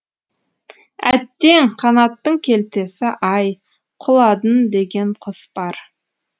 әттең қанаттың келтесі ай құладын деген құс бар